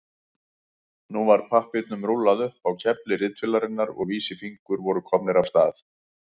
Nú var pappírnum rúllað upp á kefli ritvélarinnar og vísifingurnir voru komnir af stað.